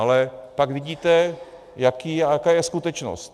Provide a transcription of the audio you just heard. Ale pak vidíte, jaká je skutečnost.